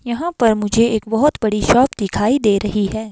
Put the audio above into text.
यहां पर मुझे एक बहोत बड़ी शॉप दिखाई दे रही है।